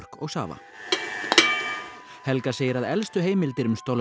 og safa helga segir að elstu heimildir um